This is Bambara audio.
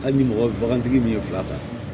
Hali ni mɔgɔtigi min ye fila ta